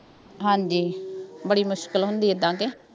ਹਾਂਜੀ ਬੜੀ ਮੁਸ਼ਕਿਲ ਹੁੰਦੀ ਏਦਾਂ ਕਿ